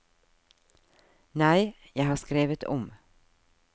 Nei, jeg har skrevet om.